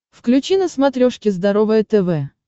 включи на смотрешке здоровое тв